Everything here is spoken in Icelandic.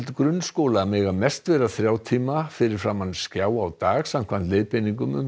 grunnskóla mega mest vera þrjá tíma fyrir framan skjá á dag samkvæmt leiðbeiningum um